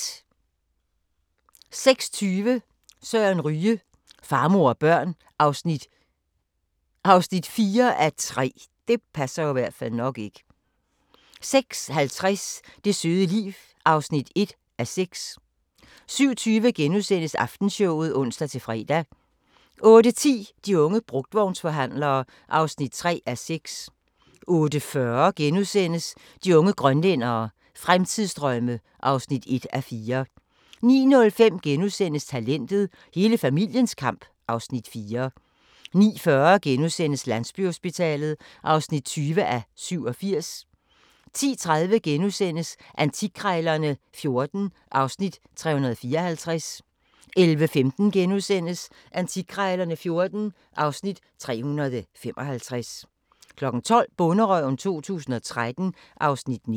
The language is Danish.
06:20: Søren Ryge: Far, mor og børn (4:3) 06:50: Det søde liv (1:6) 07:20: Aftenshowet *(ons-fre) 08:10: De unge brugtvognsforhandlere (3:6) 08:40: De unge grønlændere – Fremtidsdrømme (1:4)* 09:05: Talentet – Hele familiens kamp (Afs. 4)* 09:40: Landsbyhospitalet (20:87)* 10:30: Antikkrejlerne XIV (Afs. 354)* 11:15: Antikkrejlerne XIV (Afs. 355)* 12:00: Bonderøven 2013 (Afs. 19)